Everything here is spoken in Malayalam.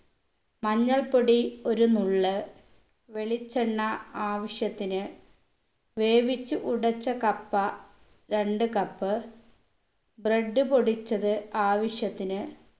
മഞ്ഞൾപ്പൊടി ഒരു നുള്ള് വെളിച്ചെണ്ണ ആവശ്യത്തിന് വേവിച്ചു ഉടച്ച കപ്പ രണ്ട് cup bread പൊടിച്ചത് ആവിശ്യത്തിന്